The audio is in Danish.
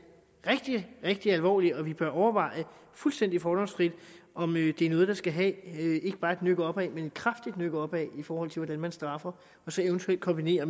rigtig rigtig alvorligt og at vi bør overveje fuldstændig fordomsfrit om det er noget der skal have ikke bare et nøk opad men et kraftigt nøk opad i forhold til hvordan man straffer og så eventuelt kombinere